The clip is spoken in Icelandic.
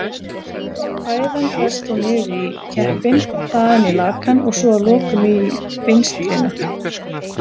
Fæðan berst þá niður í keppinn, þaðan í lakann og svo að lokum í vinstrina.